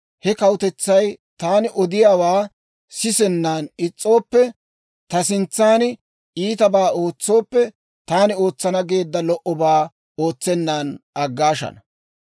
he kawutetsay taani odiyaawaa sisennan is's'ooppe ta sintsan iitabaa ootsooppe, taani ootsana geedda lo"obaa ootsennan aggaashana.